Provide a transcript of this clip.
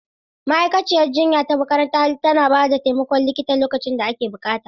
Ma'aikaciyar jinya ta makaranta tana ba da taimakon likita lokacin da ake buƙata.